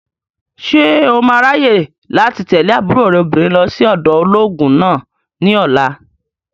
Ṣé o máa ráyè láti tẹ̀lé àbúrò rẹ̀ obìnrin lọ sí ọ̀dọ̀ olóògùn náà ní ọ̀la?